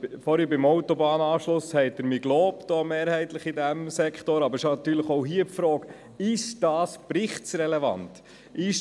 Vorhin beim Autobahnanschluss haben Sie, von diesem Sektor, mich mehrheitlich gelobt, aber es stellt sich natürlich auch hier die Frage, ob dieses Anliegen für den Bericht relevant ist.